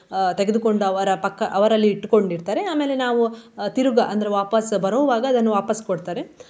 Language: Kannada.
ಅಹ್ ತೆಗೆದುಕೊಂಡು ಅವರ ಪಕ್ಕ ಅವರಲ್ಲಿ ಇಟ್ಕೊಂಡಿರ್ತಾರೆ ಆಮೇಲೆ ನಾವು ತಿರುಗ~ ಅಂದ್ರೆ ವಾಪಸ್ ಬರುವಾಗ ಅದನ್ನು ವಾಪಸ್ ಕೊಡ್ತಾರೆ.